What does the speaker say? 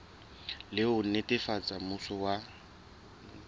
le ho netefatsa mmuso wa